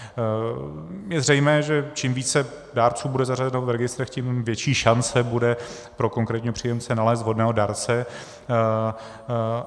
Je zřejmé, že čím více dárců bude zařazeno v registrech, tím větší šance bude pro konkrétního příjemce nalézt vhodného dárce.